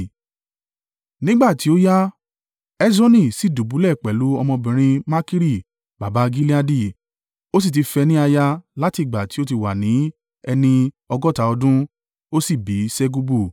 Nígbà tí ó yá, Hesroni sì dùbúlẹ̀ pẹ̀lú ọmọbìnrin Makiri baba Gileadi (ó sì ti fẹ́ ní aya láti ìgbà tí ó ti wà ní ẹni ọgọ́ta ọdún) ó sì bí Segubu.